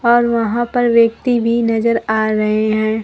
और वहां पर व्यक्ति भी नजर आ रहे हैं।